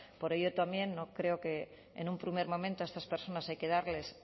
por ello también no creo que en un primer momento a estas personas hay que darles